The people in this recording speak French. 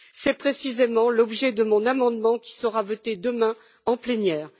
C'est précisément l'objet de mon amendement qui sera mis aux voix demain en plénière.